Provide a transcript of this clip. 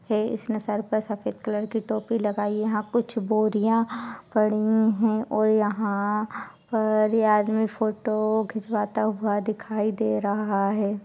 है इसने सर पर सफ़ेद कलर की टोपी लगाई हुई है| यहाँ कुछ बोरिया पड़ी है और यहाँ पर यह आदमी फोटो खिचवाता हुआ दिखाई दे रहा है।